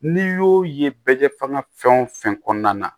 N'i y'o ye bɛ kɛ fanŋa fɛn o fɛn kɔnɔna na